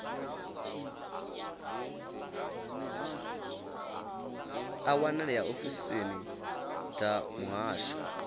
a wanalea ofisini dza muhasho